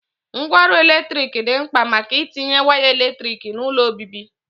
Ngwa ọrụ eletrik di mkpa maka itinye waya eletrik n'ulo obibi.